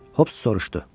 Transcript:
Hop soruşdu.